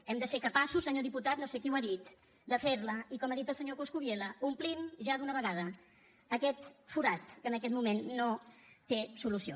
hem de ser capaços senyor diputat no sé qui ho ha dit de fer la i com ha dit el senyor coscubiela omplim ja d’una vegada aquest forat que en aquest moment no té solució